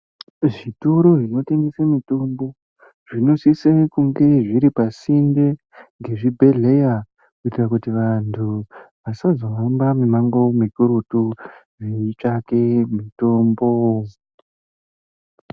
Zvitoro zvinotengese mitombo zvinosise kunge zviri pasinde ngezvibhedhleya kuite kuti vantu vasazohamba mumwango mukurutu veitsvake mitombo.